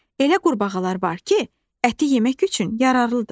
Elə qurbağalar var ki, əti yemək üçün yararlıdır.